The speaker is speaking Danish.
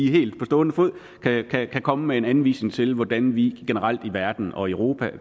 lige helt på stående fod kan komme med en anvisning til hvordan vi generelt i verden og europa